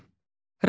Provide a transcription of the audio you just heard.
A.